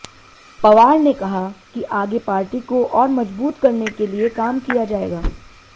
पवार ने कहा कि आगे पार्टी को और मजबूत करने के लिए काम किया जाएगा